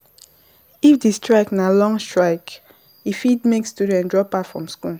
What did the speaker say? if di strike na long strike e fit make some students drop out from school go find hustle